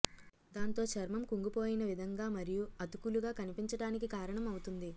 దాంతో చర్మం కుంగిపోయిన విధంగా మరియు అతుకులుగా కనిపించడానికి కారణం అవుతుంది